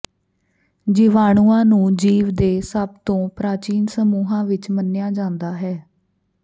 ਜੀਵਾਣੂਆਂ ਨੂੰ ਜੀਵ ਦੇ ਸਭ ਤੋਂ ਪ੍ਰਾਚੀਨ ਸਮੂਹਾਂ ਵਿਚ ਮੰਨਿਆ ਜਾਂਦਾ ਹੈ